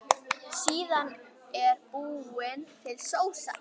Síðan er búin til sósa.